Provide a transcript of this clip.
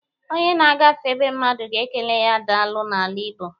Onye na-agafe be mmadụ ga-ekele ya daalụ n'ala Igbọ.